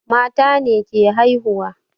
Mata ne ke haihuwa